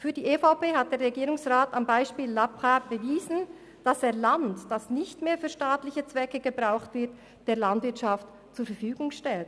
Für die EVP hat der Regierungsrat am Beispiel La Brasse bewiesen, dass er Land, das nicht mehr für staatliche Zwecke gebraucht wird, der privaten Landwirtschaft zur Verfügung stellt.